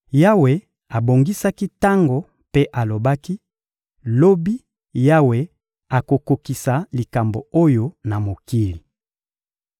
Yawe abongisaki tango mpe alobaki: «Lobi, Yawe akokokisa likambo oyo na mokili.»